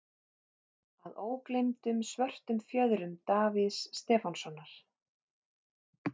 Að ógleymdum Svörtum fjöðrum Davíðs Stefánssonar.